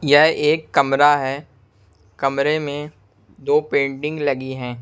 यह एक कमरा है कमरे में दो पेंटिंग लगी है।